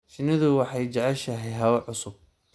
Shinnidu waxay jeceshahay hawo cusub.